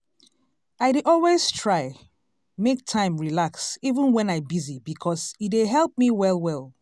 i dey always try make time relax even wen i busy because e dey help me well well.